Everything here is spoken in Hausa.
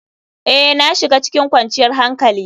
Ee, na shiga cikin kwanciyar hankali.